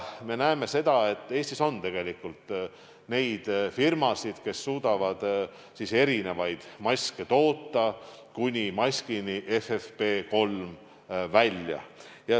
Me näeme, et Eestis on tegelikult neid firmasid, kes suudavad maske toota, kuni maskini FFP3 välja.